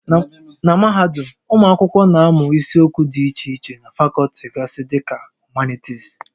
Na mahadum, ụmụ akwụkwọ na-amụ isiokwu dị iche iche na fakọlti gasị dị ka Humanities